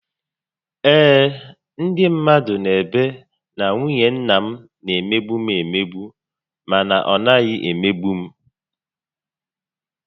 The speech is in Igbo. Ee, ndị mmadụ n'ebe na nwunye nna m na emegbu m emegbu mana ọ naghị emegbu m